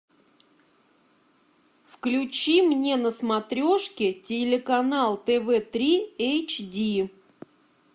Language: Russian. включи мне на смотрешке телеканал тв три эйч ди